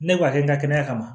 Ne b'a kɛ n ka kɛnɛya kama